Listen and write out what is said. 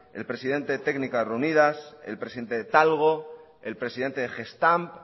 el presidente técnicas reunidas el presidente de talgo el presidente de gestamp